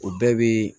O bɛɛ bɛ